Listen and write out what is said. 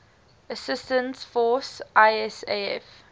assistance force isaf